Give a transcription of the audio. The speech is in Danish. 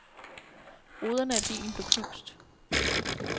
Ruderne af bilen blev knust.